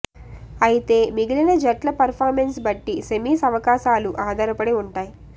అయితే మిగిలిన జట్ల పెర్ఫార్మెన్స్ బట్టి సెమీస్ అవాకాశాలు ఆధారపడి ఉంటాయి